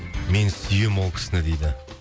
мен сүйемін ол кісіні дейді